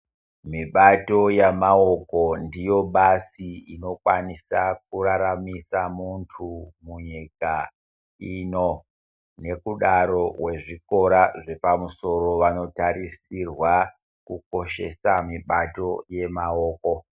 Mibato yamaoko ndiyo basi inokwanisa kuraramisa muntu munyika ino nekudaro vezvikora Zvepamusoro vanotarisirwa kukoshesa mibato yemaoko.